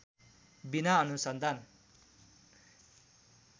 बिना अनुसन्धान